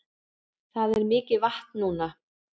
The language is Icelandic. Það er mikið vatn núna